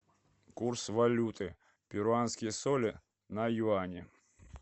курс валюты перуанские соли на юани